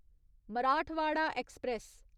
Marathwada express